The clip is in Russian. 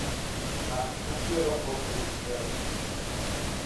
а какие аэропорты есть рядышком